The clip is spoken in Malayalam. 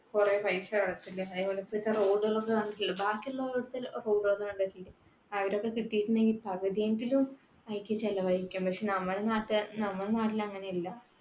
കുറെ പൈസ road ക്കൾ ഒക്കെ കണ്ടിട്ടില്ലേ. ബാക്കിയുള്ള road ക്കൾ കണ്ടിട്ടില്ലേ. അവർ ഒക്കെ കിട്ടിയിട്ടുണ്ടെങ്കിൽ പകുതിയെങ്കിലും അതിലിക്ക് ചെലവഴിക്കും. പക്ഷെ നമ്മുടെ നാട്ടുകാർക്ക് നമ്മുടെ നാട്ടിൽ അങ്ങനെയല്ല.